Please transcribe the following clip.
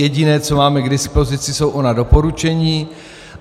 Jediné, co máme k dispozici, jsou ona doporučení.